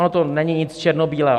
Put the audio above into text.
Ono to není nic černobílého.